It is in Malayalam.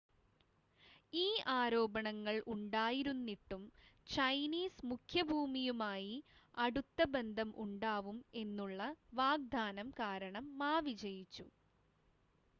ഈ ആരോപണങ്ങൾ ഉണ്ടായിരുന്നിട്ടും ചൈനീസ് മുഖ്യഭൂമിയുമായി അടുത്ത ബന്ധം ഉണ്ടാവും എന്നുള്ള വാഗ്ദാനം കാരണം മാ വിജയിച്ചു